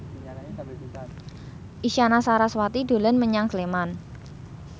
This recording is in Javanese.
Isyana Sarasvati dolan menyang Sleman